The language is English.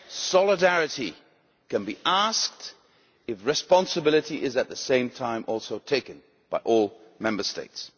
Solidarity can be asked if responsibility is at the same time also taken by all Member States.